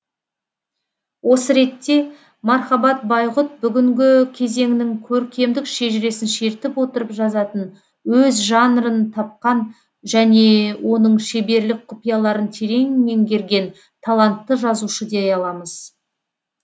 осы ретте мархабат байғұт бүгінгі кезеңнің көркемдік шежіресін шертіп отырып жазатын өз жанрын тапқан және оның шеберлік құпияларын терең менгерген талантты жазушы дей аламыз